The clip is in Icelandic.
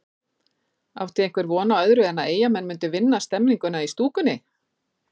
Átti einhver von á öðru en að Eyjamenn myndu vinna stemninguna í stúkunni?